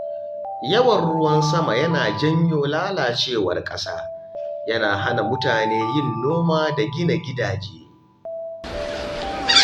Yawan ruwan sama yana janyo lalacewar ƙasa, yana hana mutane yin noma da gina gidaje.